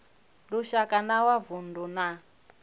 lushaka na wa vundu na